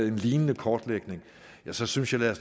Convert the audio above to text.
en lignende kortlægning så synes jeg at